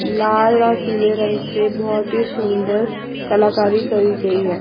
लाल और पीले रंग से बहोत ही सुंदर कलाकारी की गई है।